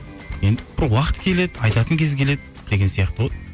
енді бір уақыт келеді айтатын кез келеді деген сияқты ғой